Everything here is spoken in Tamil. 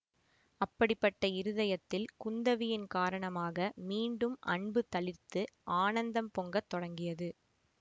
அப்படிப்பட்ட இருதயத்தில் குந்தவியின் காரணமாக மீண்டும் அன்பு தளிர்த்து ஆனந்தம் பொங்கத் தொடங்கியது